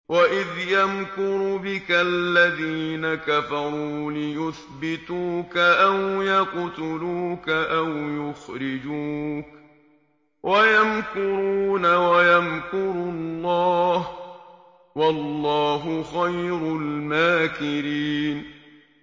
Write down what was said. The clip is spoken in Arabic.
وَإِذْ يَمْكُرُ بِكَ الَّذِينَ كَفَرُوا لِيُثْبِتُوكَ أَوْ يَقْتُلُوكَ أَوْ يُخْرِجُوكَ ۚ وَيَمْكُرُونَ وَيَمْكُرُ اللَّهُ ۖ وَاللَّهُ خَيْرُ الْمَاكِرِينَ